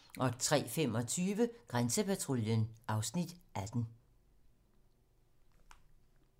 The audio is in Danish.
03:25: Grænsepatruljen (Afs. 18)